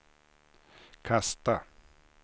kasta